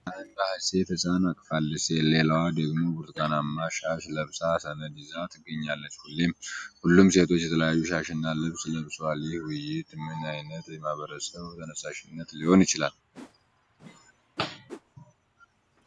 አንዷ ሴት ሕፃን አቅፋለች፣ ሌላዋ ደግሞ ብርቱካናማ ሻሽ ለብሳ ሰነድ ይዛ ትገኛለች። ሁሉም ሴቶች የተለያየ ሻሽና ልብስ ለብሰዋል። ይህ ውይይት ምን ዓይነት የማህበረሰብ ተነሳሽነት ሊሆን ይችላል?